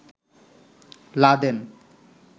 Laden